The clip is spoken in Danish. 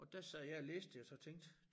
Og der sad jeg og læste det og så tænkte